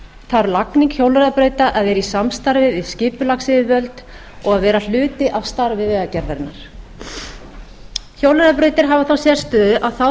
þarf lagning hjólreiðabrauta að vera í samstarfi við skipulagsyfirvöld og vera hluti af starfi vegagerðarinnar hjólreiðabrautir hafa þá sérstöðu að þá þarf